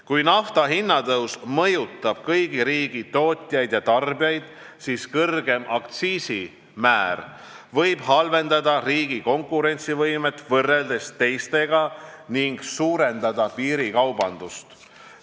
Kui naftahinna tõus mõjutab kõigi riikide tootjaid ja tarbijaid, siis kõrgem aktsiisimäär võib halvendada riigi konkurentsivõimet võrreldes teistega ning suurendada piirikaubandust.